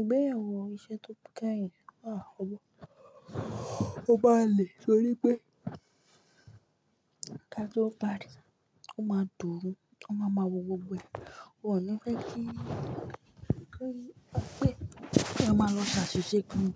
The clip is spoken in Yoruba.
Ìgbéyàwó iṣẹ́ tó keyin máa wọ̀, ó maa n lè torí pé ká to pari o maa d'oru, won máa maa ma wọ gbogbo ẹ̀. Wòn ní fẹ́ kí, kí wípé ki e máa lọ ṣe asise kan